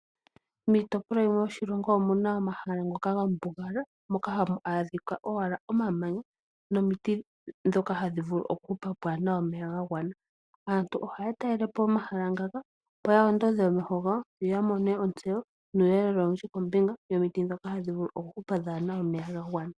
Miitopolwa yimwe yoshilongo omuna omahala ngoka ga mbugala moka hamu adhika owala omamanya, nomiti dhoka hadhi vulu okuhupa pwaana omeya ga gwana. Aantu ohaya talele po omahala ngaka opo ya ondodhe omeho gawo, yo ya mone ontseyo nuuyelele owundji kombinga yomiti dhoka hadhi vulu okuhupa pwaana omeya ga gwana.